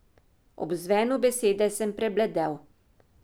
Ob zvenu besede sem prebledel.